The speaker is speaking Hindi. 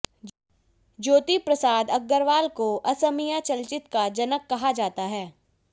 ज्योतिप्रसाद आगरवाला को असमीया चलचित का जनक कहा जाता है